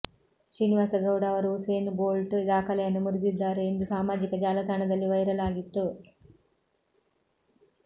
ಶ್ರೀನಿವಾಸ್ ಗೌಡ ಅವರು Usain Bolt ದಾಖಲೆಯನ್ನು ಮುರಿದಿದ್ದಾರೆ ಎಂದು ಸಾಮಾಜಿಕ ಜಾಲತಾಣದಲ್ಲಿ ವೈರಲ್ ಆಗಿತ್ತು